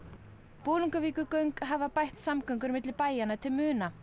Bolungarvíkurgöng hafa bætt samgöngur milli bæjanna til muna